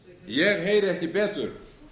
ég heyri ekki betur